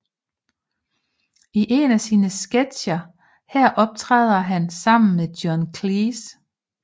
I en af sine sketcher her optræder han sammen med John Cleese